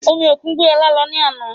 Omi òkun gbé ọ̀la lọ ní àná